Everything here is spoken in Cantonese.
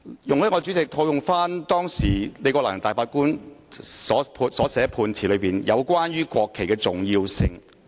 代理主席，容許我套用當時李國能大法官頒下的判詞中有關國旗重要性的部分。